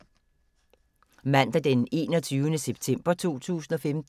Mandag d. 21. september 2015